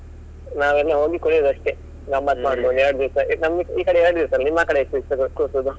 ನಾವೆಲ್ಲ ಹೋಗಿ ಕುಣಿಯುದು ಅಷ್ಟೇ ಎರಡು ದಿವಸ ನಮ್ಗೆ ಈ ಕಡೆ ಎರಡು ದಿವ್ಸ ಅಲ್ಲ ನಿಮ್ಮಾಕಡೆ ಎಷ್ಟು ದಿವ್ಸ ಕೂರ್ಸುದು?